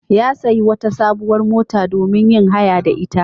Ya sayi wata sabuwar mota domin yin haya da ita.